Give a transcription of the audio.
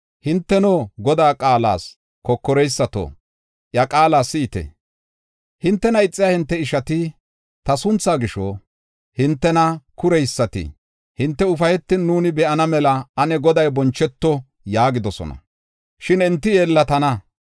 Hinteno, Godaa qaalas kokoreysato iya qaala si7ite: “Hintena ixiya hinte ishati, ta sunthaa gisho, hintena kureysati, ‘Hinte ufaytin nuuni be7ana mela ane Goday boncheto’ ” yaagidosona; shin enti yeellatana.